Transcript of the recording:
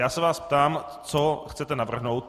Já se vás ptám, co chcete navrhnout.